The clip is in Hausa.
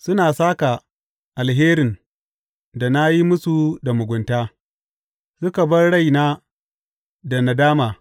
Suna sāka alherin da na yi musu da mugunta suka bar raina da nadama.